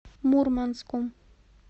мурманском